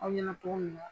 Aw ɲɛna cogo min na